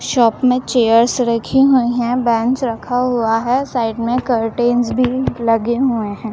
Shop में chairs रखी हुई हैं बेंच रखा हुआ है साइड में करटेंस भी लगे हुए हैं।